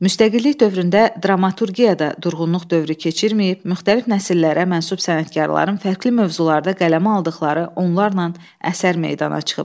Müstəqillik dövründə dramaturgiyada durğunluq dövrü keçirməyib, müxtəlif nəsillərə mənsub sənətkarların fərqli mövzularda qələmə aldıqları onlarla əsər meydana çıxıb.